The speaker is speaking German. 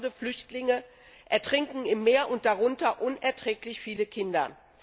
Tausende Flüchtlinge ertrinken im Meer, darunter sind unerträglich viele Kinder.